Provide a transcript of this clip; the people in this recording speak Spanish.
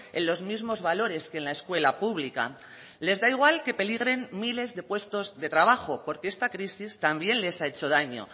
en los mismos valores que en la escuela pública les da igual que peligren miles de puestos de trabajo porque esta crisis también les ha hecho daño